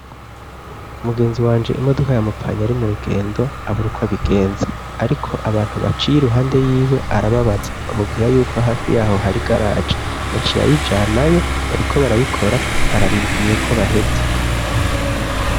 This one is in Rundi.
Umugenzi wanje imodoka yamupfanye ari mu rugendo aburukw' abigenza, ariko abantu baciye iruhande y'iwe arababaza, bamubwira yuko hafi yaho hari garagi ,yaciye ayijanayo bariko barayikora ,ararindiriye ko baheza.